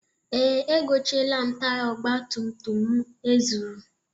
Ee, egochieela m taya ọgbatumtum m e zuru.